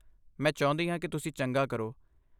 ਮੈਂ ਚਾਹੁੰਦੀ ਹਾਂ ਕਿ ਤੁਸੀਂ ਚੰਗਾ ਕਰੋ।